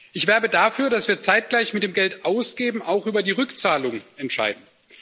Ich werbe dafür, dass wir zeitgleich mit dem Geldausgeben auch über die Rückzahlung entscheiden.